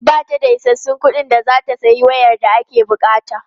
Ba ta da isassun kuɗin da za ta sayi wayar da ake buƙata.